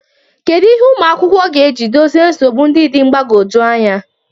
Kedu ihe ụmụ akwụkwọ ga-eji dozie nsogbu ndị dị mgbagwoju anya?